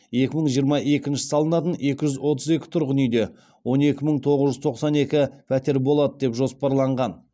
екі мың жиырма екінші салынатын екі жүз отыз екі тұрғын үйде он екі мың тоғыз жүз тоқсан екі пәтер болады деп жоспарланған